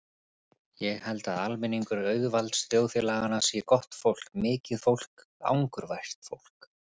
Ég held að almenningur auðvaldsþjóðfélaganna sé gott fólk, mikið fólk, angurvært fólk.